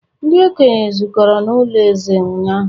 ndi-okenye zukọrọ n'ulo eze ụnyahụ